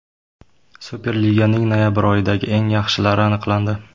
Superliganing noyabr oyidagi eng yaxshilari aniqlandi.